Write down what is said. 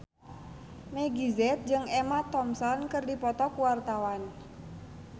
Meggie Z jeung Emma Thompson keur dipoto ku wartawan